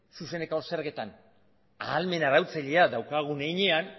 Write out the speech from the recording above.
zuzeneko zergetan ahalmen arautzailea daukagun heinean